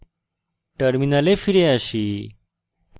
terminal ফিরে আসি